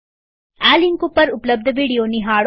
આ લિંક ઉપર ઉપલબ્ધ વિડીયો નિહાળો